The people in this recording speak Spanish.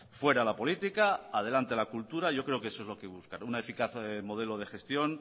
fuera la política adelante la cultura yo creo que eso es lo que hay que buscar un eficaz modelo de gestión